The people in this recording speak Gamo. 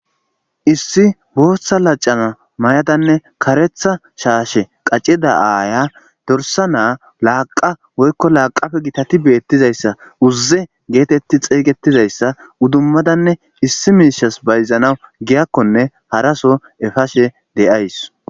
Issi Botha laxana mayadane karetja shashe wacida aaya dorsa naa laqa woyko laqape gitati betizaysa woyko uze geteti xeygetizaysa idimadanne issi misha's bayzana giyakone haraso epashe de'aws